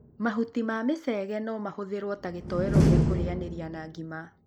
Mahuti ma micege no mahũthirwo ta gĩtoero gĩa kũrĩanĩria na ngima.